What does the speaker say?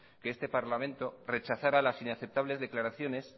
que este parlamento rechazara las inaceptables declaraciones